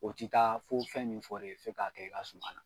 O ti taa fo fɛn min fɔ re ye f'e k'a kɛ i ka suman na